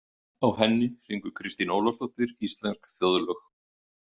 Á henni syngur Kristín Ólafsdóttir íslensk þjóðlög.